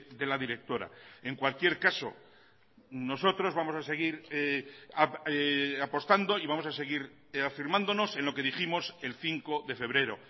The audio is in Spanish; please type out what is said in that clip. de la directora en cualquier caso nosotros vamos a seguir apostando y vamos a seguir afirmándonos en lo que dijimos el cinco de febrero